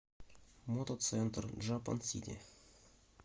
мотоцентр джапансити